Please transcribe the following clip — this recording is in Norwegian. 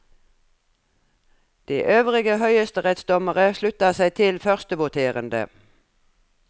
De øvrige høyesterettsdommere slutta seg til førstevoterende.